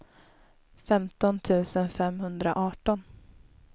femton tusen femhundraarton